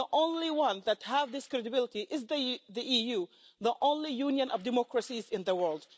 The only ones that have this credibility is the EU, the only union of democracies in the world.